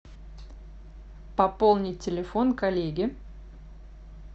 пополнить телефон коллеге